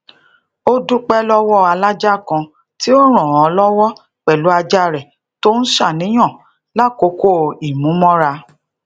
ó dúpé lówó alaja kan ti o ran an lowo pelu aja re to n ṣàníyàn lakoko imumora